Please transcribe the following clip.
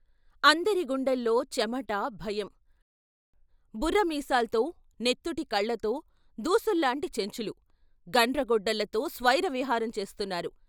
అందరి గుండెల్లో చెమట భయం బుర్ర మీసాల్తో, నెత్తుటి కళ్ళతో దూసుల్లాంటి చెంచులు గండ్రగొడ్డళ్ళతో స్వైరవిహారం చేస్తున్నారు.